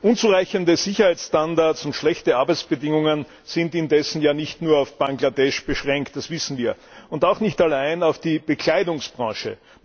Unzureichende Sicherheitsstandards und schlechte Arbeitsbedingungen sind indessen ja nicht nur auf Bangladesch beschränkt, das wissen wir, und auch nicht allein auf die Bekleidungsbranche.